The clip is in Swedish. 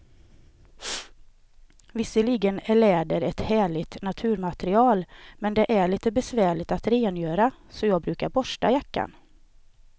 Visserligen är läder ett härligt naturmaterial, men det är lite besvärligt att rengöra, så jag brukar borsta jackan.